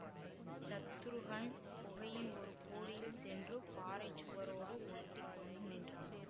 சத்ருக்னன் குகையின் ஒரு கோடியில் சென்று பாறை சுவரோடு ஒட்டி கொண்டு நின்றான்